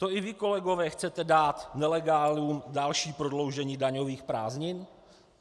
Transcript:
To i vy, kolegové, chcete dát nelegálům další prodloužení daňových prázdnin?